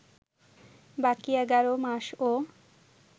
বাকী এগারো মাসও